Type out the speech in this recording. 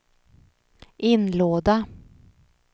inlåda